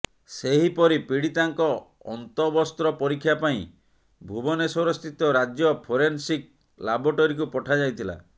ସେହିପରି ପୀଡ଼ିତାଙ୍କ ଅନ୍ତବସ୍ତ୍ର ପରୀକ୍ଷା ପାଇଁ ଭୁବନେଶ୍ୱରସ୍ଥିତ ରାଜ୍ୟ ଫୋରେନସିକ୍ ଲାବ୍ରୋଟାରୀକୁ ପଠାଯାଇଥିଲା